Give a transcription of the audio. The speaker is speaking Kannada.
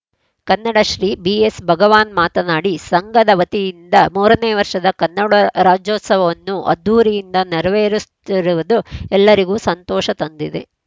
ಕನ್ನಡಶ್ರೀ ಬಿಎಸ್‌ಭಗವಾನ್‌ ಮಾತನಾಡಿ ಸಂಘದ ವತಿಯಿಂದ ಮೂರನೇ ವರ್ಷದ ಕನ್ನಡ ರಾಜ್ಯೋತ್ಸವವನ್ನು ಅದ್ದೂರಿಯಿಂದ ನೆರವೇರಿಸ್ತಿರುವುದು ಎಲ್ಲರಿಗೂ ಸಂತೋಷ ತಂದಿದೆ